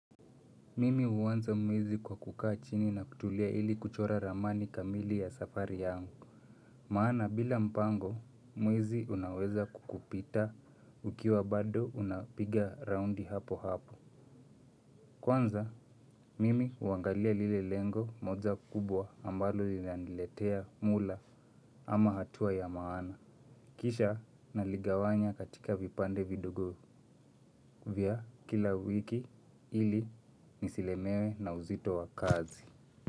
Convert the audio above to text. Mimi huanza mwezi kwa kukaa chini na kutulia ili kuchora ramani kamili ya safari yangu. Maana bila mpango mwezi unaweza kukupita ukiwa bado unapiga roundi hapo hapo. Kwanza mimi huangalia lile lengo moja kubwa ambalo linaniletea mula ama hatua ya maana. Kisha naligawanya katika vipande vidogo vya kila wiki ili nisilemewe na uzito wa kazi.